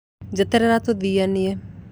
Njeterera tũthianie